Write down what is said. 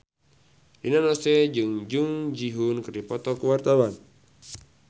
Rina Nose jeung Jung Ji Hoon keur dipoto ku wartawan